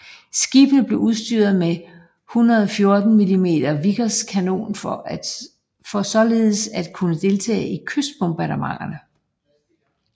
Skibene blev udstyret med en 114 mm Vickers kanon for således at kunne deltage i kystbombardementer